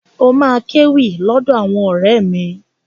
Ó máa kéwì lọ́dọ̀ àwọn ọ̀rẹ́ mi.